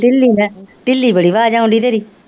ਢਿੱਲੀ ਮੈਂ ਢਿੱਲੀ ਬੜੀ ਆਵਾਜ਼ ਆਉਣ ਡੇਈ ਤੇਰੀ